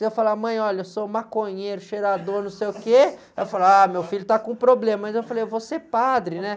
Se eu falar, mãe, olha, eu sou maconheiro, cheirador, não sei o quê, ela fala, ah, meu filho está com problema, mas eu falei, eu vou ser padre, né.